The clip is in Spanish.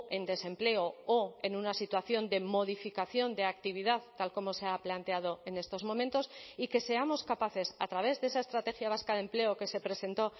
en desempleo o en una situación de modificación de actividad tal como se ha planteado en estos momentos y que seamos capaces a través de esa estrategia vasca de empleo que se presentó